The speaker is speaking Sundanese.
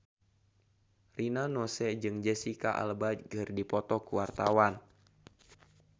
Rina Nose jeung Jesicca Alba keur dipoto ku wartawan